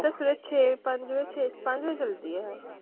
ਸਵੇਰੇ ਛੇ ਪੰਜ ਛੇ ਪੰਜ ਵਜੇ ਚਲਦੀ ਹੈ।